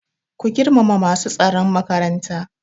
Ku girmama masu tsaron makaranta!